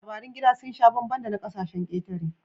Labarin gida sun sha bambam da na ƙasashen ƙetare